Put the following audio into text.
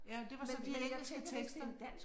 Ja det var så de engelske tekster